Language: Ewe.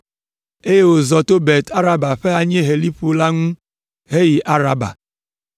eye wòzɔ Bet Araba ƒe anyieheliƒo la ŋu heyi Araba.